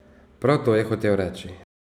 Prav to je hotel reči.